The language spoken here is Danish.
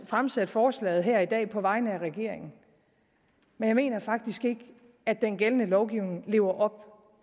fremsat forslaget her i dag på vegne af regeringen men jeg mener faktisk ikke at den gældende lovgivning lever op